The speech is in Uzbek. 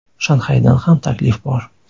Shanxaydan ham taklif bor.